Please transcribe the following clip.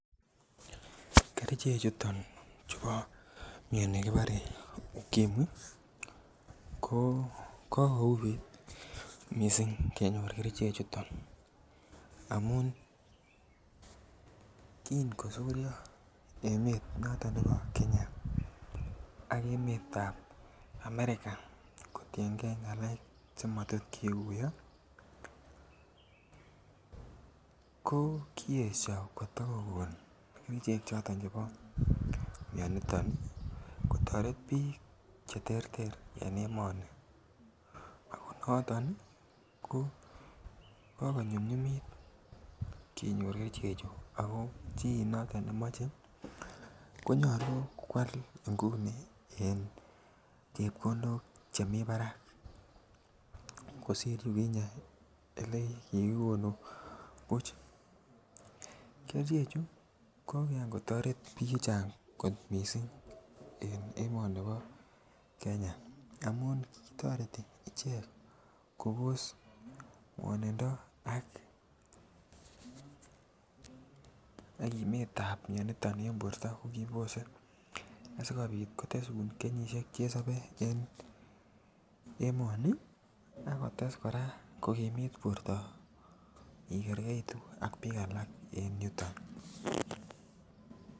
Kerichek chuton chubo mioni kibore ukimwi ko uuit missing kenyor kerichek chuton amun kin kosuryo emet noton nebo Kenya ak emetab America kotiengee ngalek che motot kiguyo ko kiyesho koto kogon kerichek choton chebo mioni niton kotoret biik che terter en emoni ako noton ko kokonyumnyumit kenyor kerichek chu ako chi noton nemoche ko nyoluu kwal ngunii en chepkondok chemii barak kosir yukinye ele kikigonu buch. Kerichek chu ko Kian kotoret biik chechang kot missing en emoni bo Kenya amun kitoreti icheget Kobos ngwonindo ak kimetab mioniton en borto ko kibose asikopit kotesun kenyisiek che sobee en emoni ako tes koraa kokimit borto igergeitu ak biik alak en yuton